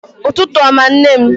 Ụtụtụ ọma nne m